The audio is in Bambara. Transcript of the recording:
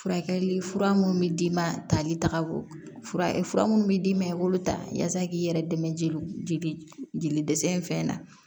Furakɛli fura munnu bɛ d'i ma tali taga fura munnu bɛ d'i ma i b'o ta yaasa k'i yɛrɛ dɛmɛ jeli jeli jeli dɛsɛ in fɛn na